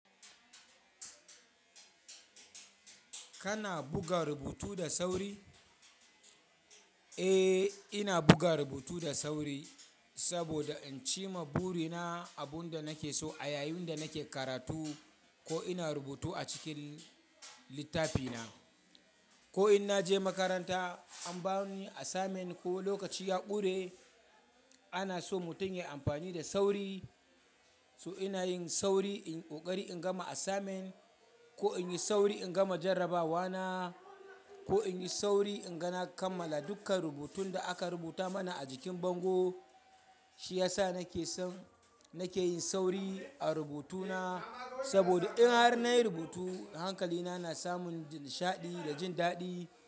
Kana buga rubutu da sauri? Eh, ina buga rubutu da sauri saboda in cima buri na abun da nake so a yayin da nake karatu ko ina rubutu a cikin littafi na. Ko in na je makaranta an bani assignment ko lokaci ya ƙure, ana so mutum ya yi amfani da sauri. So ina yin sauri in ƙoƙari in gama assignment ko in yi sauri in gama jarrabawa na ko in yi sauri inga na kammala dukkan rubutun da aka rubuta mana a jikin bango. Shi ya sa nake son nake yin sauri a rubutu na. Saboda in har na yi rubutu hankali na na samun nishaɗi da jin daɗi.